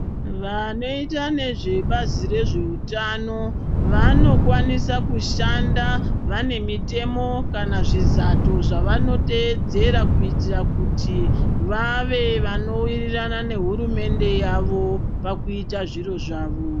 Vanoita nezvebazi rezveutano vanokwanisa kushanda vane mitemo kana zvizato zvinotedzera. Kuitira kuti vave vanovirirana nehurumende yavo pakuita zviro zvavo.